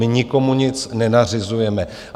My nikomu nic nenařizujeme.